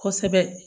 Kosɛbɛ